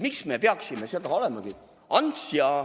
Miks me peaksime seda ... "Ants ja"!